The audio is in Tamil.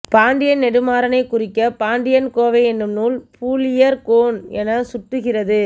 பாண்டியன் நெடுமாறனை குறிக்க பாண்டிக்கோவை எனும் நூல் பூழியர் கோன் என சுட்டுகிறது